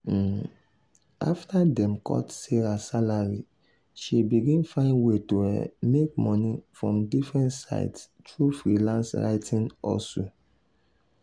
um after dem cut sarah salary she begin find way to um make money from different sides through freelance writing hustle.